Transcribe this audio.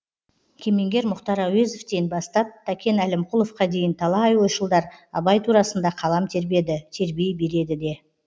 кемеңгер мұхтар әуезовтен бастап тәкен әлімқұловқа дейін талай ойшылдар абай турасында қалам тербеді тербей береді де